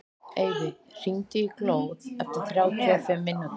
Eyfi, hringdu í Glóð eftir þrjátíu og fimm mínútur.